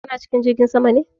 Kana cikin jirgin sama ne?